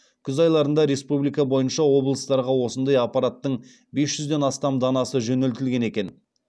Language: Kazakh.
күз айларында республика бойынша облыстарға осындай аппараттың бес жүзден астам данасы жөнелтілген екен